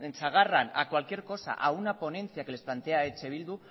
agarran a cualquier cosa a una ponencia que les plantea eh bildu